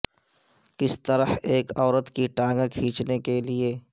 کس طرح ایک عورت کی ٹانگیں کھینچنے کے لیے